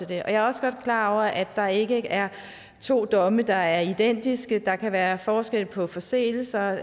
det jeg er også godt klar over at der ikke er to domme der er identiske der kan være forskel på forseelserne